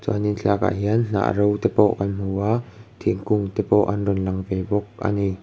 uanin thlalak ah hian hnah ro te pawh kan hmu a thingkung te pawh an rawn lang ve bawk ani.